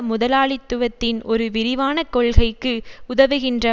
முதலாளித்துவத்தின் ஒரு விரிவான கொள்கைக்கு உதவுகின்ற